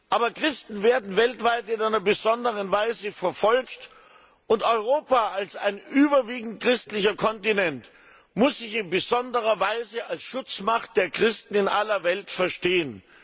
Aber Christen werden weltweit in einer besonderen Weise verfolgt, und Europa als ein überwiegend christlicher Kontinent muss sich in besonderer Weise als Schutzmacht der Christen in aller Welt verstehen.